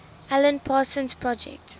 alan parsons project